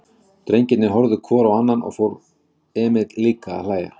Drengirnir horfðu hvor á annan og svo fór Emil líka að hlæja.